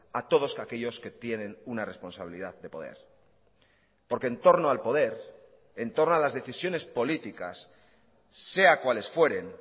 a todos que aquellos que tienen una responsabilidad de poder porque entorno al poder entorno a las decisiones políticas sea cuales fueren